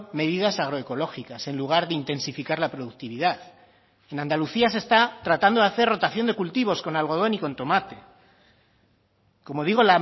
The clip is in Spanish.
medidas agroecológicas en lugar de intensificar la productividad en andalucía se está tratando de hacer rotación de cultivos con algodón y con tomate como digo